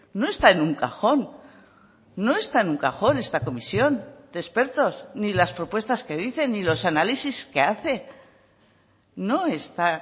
no está en un cajón no está en un cajón esta comisión de expertos ni las propuestas que dicen ni los análisis que hace no está